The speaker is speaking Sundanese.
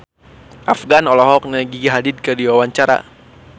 Afgan olohok ningali Gigi Hadid keur diwawancara